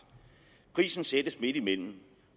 prisen sættes midtimellem